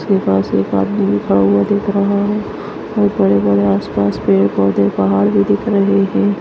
उसके पास एक आदमी खड़ा हुआ दिख रहा है और बड़े-बड़े आसपास पेड़ पौधे पहाड़ भी दिख रहे है।